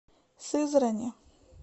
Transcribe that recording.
сызрани